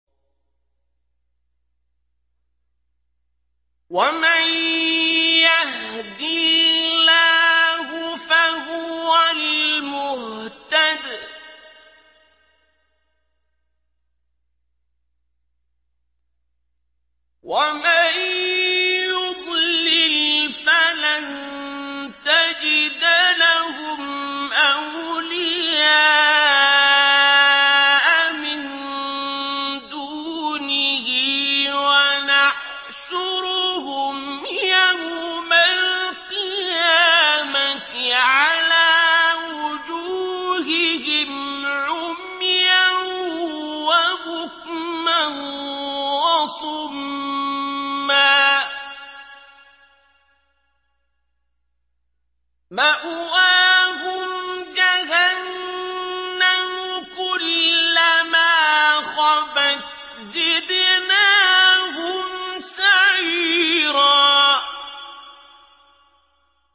وَمَن يَهْدِ اللَّهُ فَهُوَ الْمُهْتَدِ ۖ وَمَن يُضْلِلْ فَلَن تَجِدَ لَهُمْ أَوْلِيَاءَ مِن دُونِهِ ۖ وَنَحْشُرُهُمْ يَوْمَ الْقِيَامَةِ عَلَىٰ وُجُوهِهِمْ عُمْيًا وَبُكْمًا وَصُمًّا ۖ مَّأْوَاهُمْ جَهَنَّمُ ۖ كُلَّمَا خَبَتْ زِدْنَاهُمْ سَعِيرًا